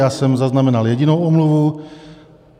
Já jsem zaznamenal jedinou omluvu.